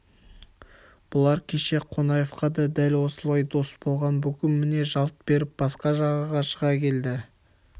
бұлар кеше қонаевқа да дәл осылай дос болған бүгін міне жалт беріп басқа жағаға шыға келді